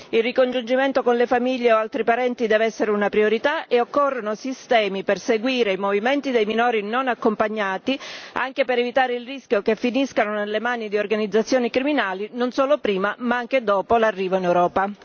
Il ricongiungimento con le famiglie o altri parenti deve essere una priorità e occorrono sistemi per seguire i movimenti dei minori non accompagnati, anche per evitare il rischio che finiscano nelle mani di organizzazioni criminali non solo prima, ma anche dopo l'arrivo in Europa.